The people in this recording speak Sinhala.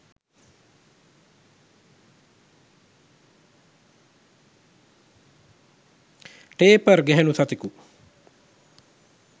ටේපර් ගැහැනු සතකු